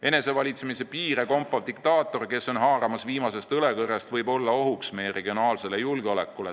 Enese valitsemispiire kompav diktaator, kes on haaramas viimasest õlekõrrest, võib olla ohuks meie regionaalsele julgeolekule.